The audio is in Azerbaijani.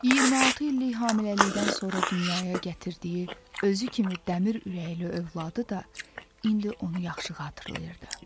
26 illik hamiləlikdən sonra dünyaya gətirdiyi, özü kimi dəmir ürəkli övladı da indi onu yaxşı xatırlayırdı.